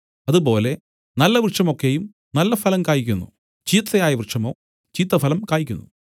അതുപോലെ നല്ല വൃക്ഷം ഒക്കെയും നല്ലഫലം കായ്ക്കുന്നു ചീത്തയായ വൃക്ഷമോ ചീത്തഫലം കായ്ക്കുന്നു